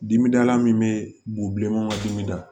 Dimidala min bɛ boubilenma dimi da